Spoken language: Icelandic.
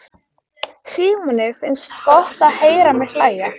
Símoni finnst gott að heyra mig hlæja.